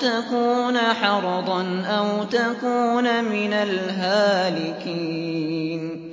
تَكُونَ حَرَضًا أَوْ تَكُونَ مِنَ الْهَالِكِينَ